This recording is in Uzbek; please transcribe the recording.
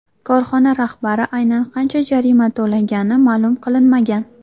Korxona rahbari aynan qancha jarima to‘lagani ma’lum qilinmagan.